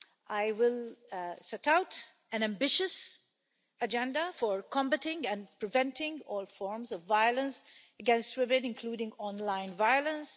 I will set out an ambitious agenda for combating and preventing all forms of violence against women, including online violence.